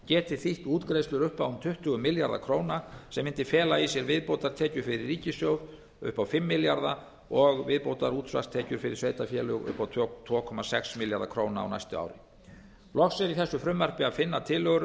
geti þýtt útgreiðslur upp á tuttugu milljarða króna sem mundi fela í sér viðbótartekjur fyrir ríkissjóð upp á fimm milljarða og viðbótarútsvarstekjur fyrir sveitarfélög upp á tvo komma sex milljarða króna á næstu árum loks er í þessu frumvarpi að finna tillögur